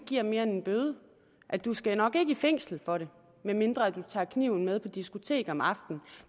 giver mere end en bøde og du skal nok ikke i fængsel for det medmindre du tager kniven med på diskotek om aftenen